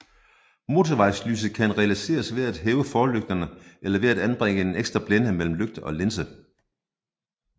Motorvejslyset kan realiseres ved at hæve forlygterne eller ved at anbringe en ekstra blænde mellem lygte og linse